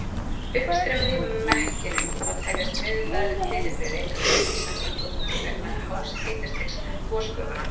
Uppstreymið í mekkinum má teljast veðurfræðilegt fyrirbrigði enda rís hann eingöngu vegna hás hitastigs gosgufanna.